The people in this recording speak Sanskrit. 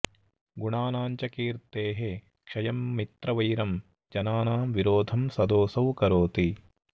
गुणानां च कीर्तेः क्षयं मित्रवैरं जनानां विरोधं सदोऽसौ करोति